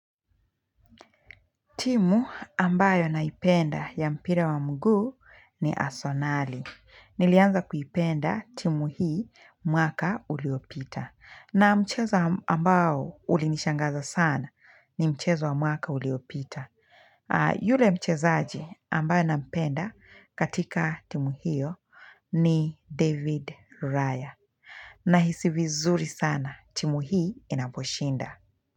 Timu ambayo naipenda ya mpira wa mguu ni asenali. Nilianza kuipenda timu hii mwaka uliopita. Na mchezo ambao ulinishangaza sana ni mchezo wa mwaka uliopita. Yule mchezaji ambaye nampenda katika timu hiyo ni David Raya. Nahisi vizuri sana timu hii inaposhinda.